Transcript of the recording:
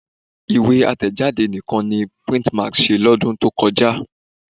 Ìwé àtẹ̀jádé nìkan ni Printmax ṣe lọ́dún tó kọjá